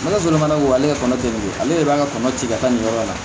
N' ala sɔrɔ fana ko ale ka kɔnɔ dɛ ale de b'an ka kɔnɔ ci ka taa nin yɔrɔ in na